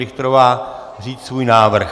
Richterová říct svůj návrh.